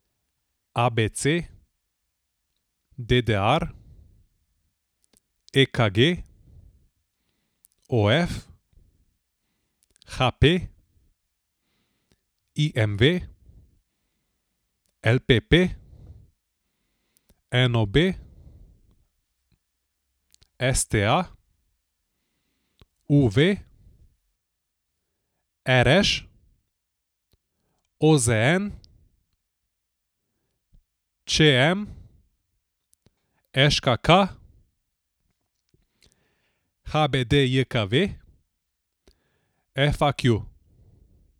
A B C; D D R; E K G; O F; H P; I M V; L P P; N O B; S T A; U V; R Š; O Z N; Č M; Ž K K; H B D J K V; F A Q.